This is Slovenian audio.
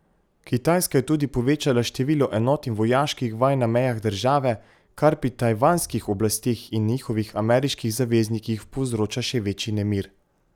Kitajska je tudi povečala število enot in vojaških vaj na mejah države, kar pri tajvanskih oblasteh in njihovih ameriških zaveznikih povzroča še večji nemir.